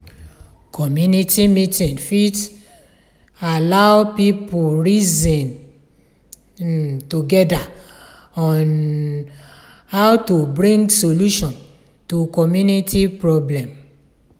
community meeting fit allow pipo reason um together on how to bring solution to community problem